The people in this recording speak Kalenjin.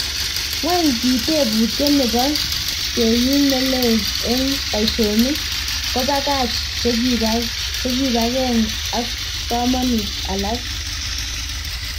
Kwang ki teputiet nepo keyin ne lee eng paishonik kopakach chekipakeng ak komut alak?